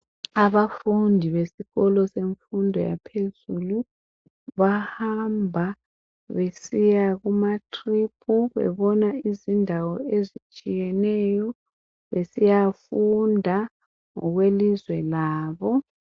Abafundi besikolo semfundo yaphezulu bahamba besiya kuma tripu, bebona izindawo ezitshiyeneyo besiyafunda ngokwelizwe labo.